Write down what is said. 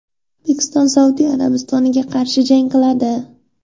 O‘zbekiston Saudiya Arabistoniga qarshi jang qiladi.